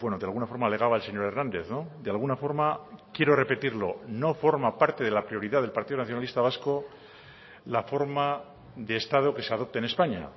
de alguna forma alegaba el señor hernández de alguna forma quiero repetirlo no forma parte de la prioridad del partido nacionalista vasco la forma de estado que se adopte en españa